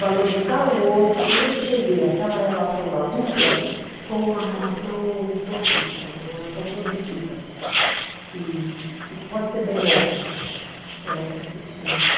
Valorizar o outro e entender aquela relação da dupla como uma relação profícua, uma relação produtiva, que que pode ser benéfica para outras pessoas.